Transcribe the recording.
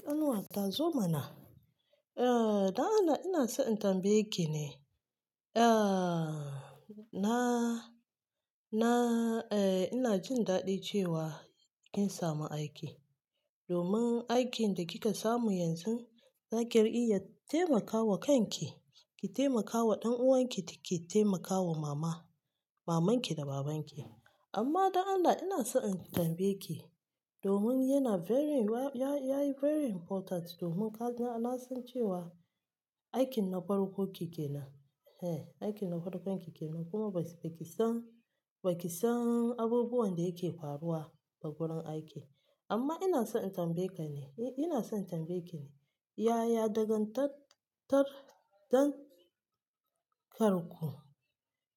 Kan nuwata zo mana. Eh, don Allah ina so in tambaye ki ne. Ehh na na ehh ina jin dadi cewa kin samu aiki domin aikin da kika samu yanzu, zaki ri iya taimakawa kanki, ki taimakawa ɗan'uwanki kike taimakawa mama, maman ki da baban ki. Amma don Allah ina so in tambaye ki, domin yana very, ya, ya yi very important domin kaga, na san cewa aikin na farko kike nan. Eh, aikin na farko kike nan kuma ba ki san, ba ki san abubuwan da yake faruwa a gurin aiki. Amma ina so in tambaye ka ne, eh ina son tambaye ki ne. Yaya dangan tat tar, dan karku